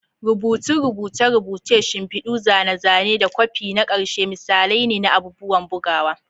Rubutun rubuce-rubuce, shimfidu, zane-zane, da kwafi na ƙarshe misalai ne na abubuwan bugawa.